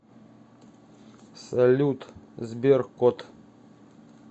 салют сбер кот